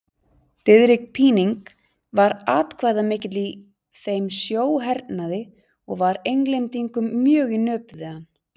Diðrik Píning var atkvæðamikill í þeim sjóhernaði og var Englendingum mjög í nöp við hann.